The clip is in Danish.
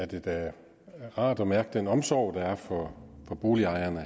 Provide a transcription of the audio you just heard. det da rart at mærke den omsorg der er for boligejerne